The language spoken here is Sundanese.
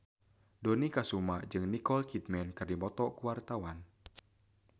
Dony Kesuma jeung Nicole Kidman keur dipoto ku wartawan